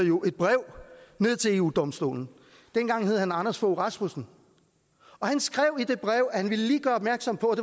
jo et brev til eu domstolen dengang hed han anders fogh rasmussen og han skrev i det brev at han lige ville gøre opmærksom på